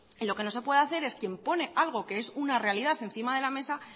lo que no se puede hacer es quien pone algo que es una realidad encima de la mesa